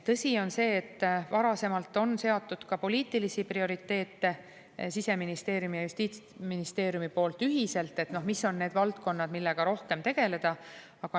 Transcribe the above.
Tõsi on see, et varasemalt on seatud ka Siseministeeriumi ja justiitsministeeriumi poolt ühiselt poliitilisi prioriteete, et mis on need valdkonnad, millega rohkem tegeleda.